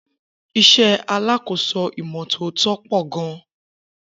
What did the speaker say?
Isé alákòóso ìmò tótó po gan